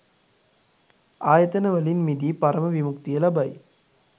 ආයතන වලින් මිදී පරම විමුක්තිය ලබයි.